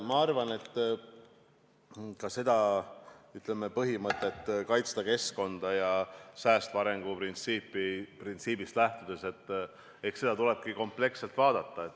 Ma arvan, et ka seda põhimõtet, kaitsta keskkonda säästva arengu printsiibist lähtudes, tuleb kompleksselt vaadata.